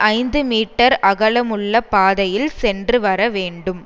ஐந்து மீட்டர் அகலமுள்ள பாதையில் சென்று வரவேண்டும்